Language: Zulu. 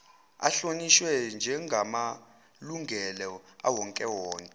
ahlonishwe njegamalungelo awowonke